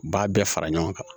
U b'a bɛɛ fara ɲɔgɔn kan